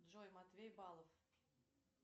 джой матвей балов